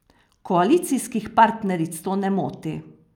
Koalicijskih partneric to ne moti.